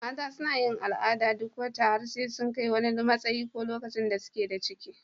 Mata suna yin al'ada duk wata har sai sun kai wani matsayi ko lokacin da suke da ciki.